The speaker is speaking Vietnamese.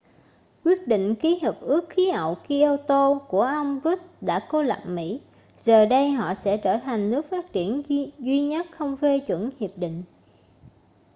quyết định ký hiệp ước khí hậu kyoto của ông rudd đã cô lập mỹ giờ đây họ sẽ trở thành nước phát triển duy nhất không phê chuẩn hiệp định